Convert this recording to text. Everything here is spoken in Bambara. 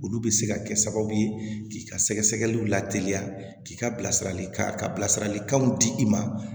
Olu bɛ se ka kɛ sababu ye k'i ka sɛgɛsɛgɛli la teliya k'i ka bilasiralikan ka bilasiralikanw di i ma